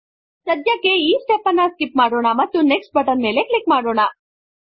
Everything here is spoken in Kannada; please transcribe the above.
ಸಧ್ಯಕ್ಕೆ ಈ ಸ್ಟೆಪ್ ನನ್ನು ಸ್ಕಿಪ್ ಮಾಡೋಣ ಮತ್ತು ನೆಕ್ಸ್ಟ್ ಬಟನ್ ಮೇಲೆ ಕ್ಲಿಕ್ ಮಾಡಿ